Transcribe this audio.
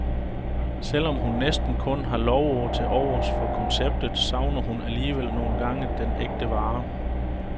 Selv om hun næsten kun har lovord til overs for konceptet, savner hun alligevel nogle gange den ægte vare.